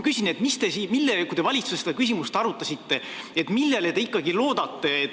Kui te valitsuses seda küsimust arutasite, siis millele te ikkagi loodate?